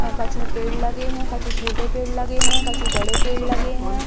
कछु पेड़ लगे हैं कछु छोटे पेड़ लगे हैं कछु बड़े पेड़ लगे हैं।